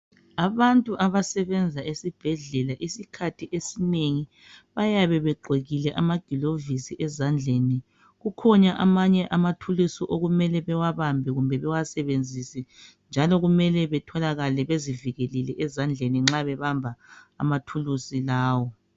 Abantu abasebenza esibhedlela isikhathi esinengi bayabe begqokile amagilovisi ezandleni kukhona amanye amathulusi okumele bewabambe kumbe bewasebenzise njalo kumele batholakale bezivikelile ezandleni nxa bebamba amathulusi lawo.